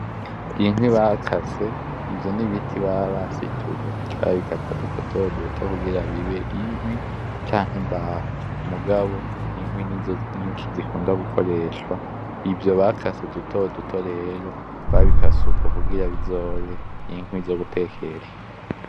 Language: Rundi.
Inkwi bakase ivyo n'ibiti baba basituye bagaca babikata dutoduto kugira bibe inkwi canke imbaho. Mugabo inkwi n'izo nyinshi zikunda gukoreshwa, ivyo bakase dutoduto rero babikase uko kugira bizobe inkwi zo gutekesha.